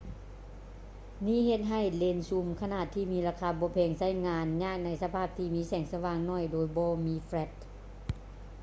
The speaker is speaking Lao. ນີ້ເຮັດໃຫ້ເລນຊູມຂະໜາດທີ່ມີລາຄາບໍ່ແພງ ໃຊ້ງານຍາກໃນສະພາບທີ່ມີແສງສະຫວ່າງໜ້ອຍໂດຍບໍ່ມີແຝຼັດ